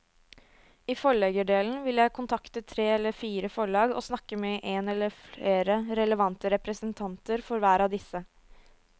I forleggerdelen vil jeg kontakte tre eller fire forlag og snakke med en eller flere relevante representanter for hver av disse.